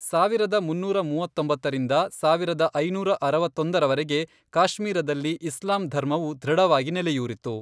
ಸಾವಿರದ ಮುನ್ನೂರ ಮೂವತ್ತೊಂಬತ್ತರಿಂದ, ಸಾವಿರದ ಐನೂರ ಅರವತ್ತೊಂದರವರೆಗೆ, ಕಾಶ್ಮೀರದಲ್ಲಿ ಇಸ್ಲಾಂ ಧರ್ಮವು ದೃಢವಾಗಿ ನೆಲೆಯೂರಿತು.